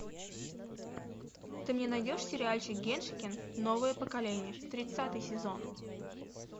ты мне найдешь сериальчик геншикен новое поколение тридцатый сезон